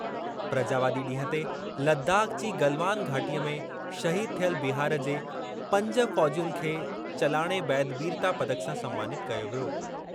प्रजावादी ॾींहुं ते लदाख़ जी गलवान घाटीअ में शहीद थियल बिहार जे पंज फ़ौजियुनि खे चलाणे बैदि वीरता पदक सां सन्मानितु कयो वियो।